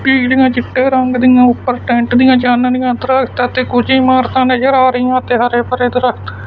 ਬਿਲਡਿੰਗਾਂ ਚਿੱਟੇ ਰੰਗ ਦੀਆਂ ਉਪਰ ਟੈਂਟ ਦੀਆਂ ਚਾਨਣੀਆਂ ਦਰਖਤ ਅਤੇ ਕੁਝ ਇਮਾਰਤਾਂ ਨਜ਼ਰ ਆ ਰਹੀਆਂ ਤੇ ਹਰੇ ਭਰੇ ਦਰਖਤ।